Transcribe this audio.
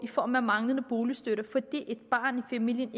i form af manglende boligstøtte fordi et barn i familien